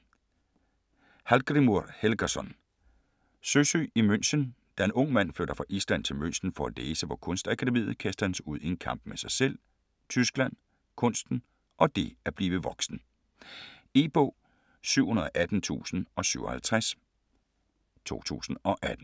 Hallgrímur Helgason: Søsyg i München Da Ung Mand flytter fra Island til München for at læse på Kunstakademiet, kastes han ud i en kamp med sig selv, Tyskland, kunsten og det at blive voksen. E-bog 718057 2018.